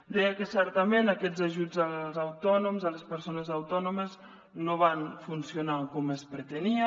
deia que certament aquests ajuts als autònoms a les persones autònomes no van funcionar com es pretenia